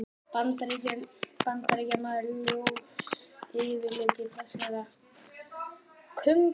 Bandaríkjamaður, ljós yfirlitum og fjarska kumpánlegur.